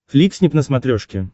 фликснип на смотрешке